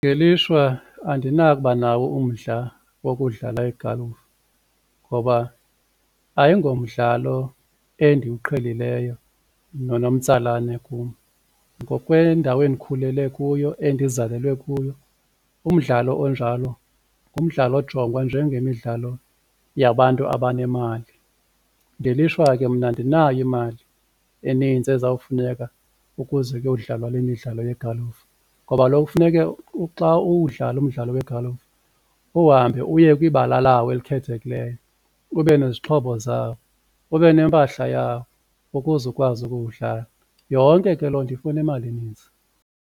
Ngelishwa andinakuba nawo umdla wokudlala igalufu ngoba ayingomdlalo endiwuqhelileyo nonomtsalane kum. Ngokwendawo endikhulele kuyo, endizalelwe kuyo umdlalo onjalo ngumdlalo ojongwa njengemidlalo yabantu abanemali, ngelishwa ke mna andinayo imali enintsi ezawufuneka ukuze kuyodlalwa le midlalo yegalufa ngoba kaloku funeke xa uwudlala umdlalo wegalufa uhambe uye kwibala lawo elikhethekileyo, ube nezixhobo zawo, ube nempahla yawo ukuze ukwazi ukuwudlala. Yonke ke loo nto ifuna imali enintsi.